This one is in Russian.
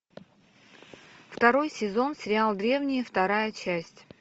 второй сезон сериал древние вторая часть